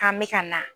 K'an bɛ ka na